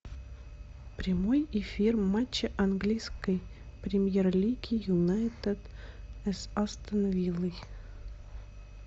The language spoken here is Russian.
прямой эфир матча английской премьер лиги юнайтед с астон виллой